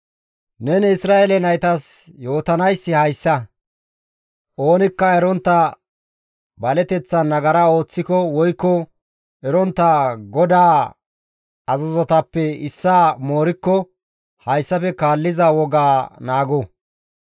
«Neni Isra7eele naytas yootanayssi hayssa; oonikka erontta baleteththan nagara ooththiko woykko erontta GODAA azazotappe issaa moorikko hayssafe kaalliza wogaa naago!